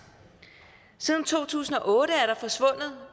siden to tusind og otte